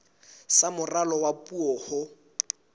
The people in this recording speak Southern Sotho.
sa moralo wa puo ho